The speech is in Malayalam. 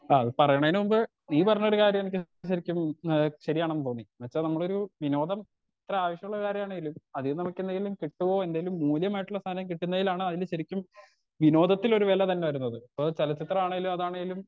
ആ അത് പറയണേൻ മുമ്പ് ഈ പറഞ്ഞ ഒരു കാര്യം എന്നിക്ക് ശരിക്കും എഹ് ശരിയാണെന്ന് തോന്നി ന്ന്വെച്ച നമ്മളൊരു വിനോദം ഇത്ര ആവശ്യള്ള കാര്യമാണെലും അതിന്ന് നമ്മുക്കെന്തെങ്കിലും കിട്ടോ എന്തെലും മുല്യമായിട്ടുള്ള സാനം കിട്ടുന്നെലാണ് അതിൽ ശരിക്കും വിനോദത്തിൽ ഒരു വേല തന്നെ വരുന്നത് ഇപ്പത് ചെലചിത്രണേലും അതാണേലും